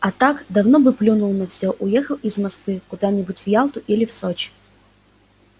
а так давно бы плюнул на всё уехал из москвы куда-нибудь в ялту или в сочи